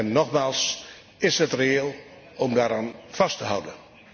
En nogmaals, is het reëel om daaraan vast te houden?